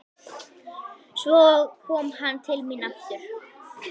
Svo kom hann til mín aftur.